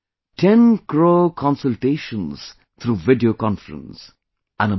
... 10 crore Consultations through video conference...